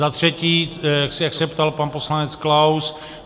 Za třetí, jak se ptal pan poslanec Klaus.